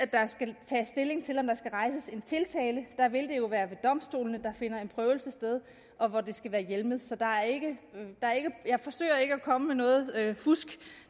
der skal rejses en tiltale der vil det jo være ved domstolene der finder en prøvelse sted og hvor det skal være hjemlet så jeg forsøger ikke at komme med noget fusk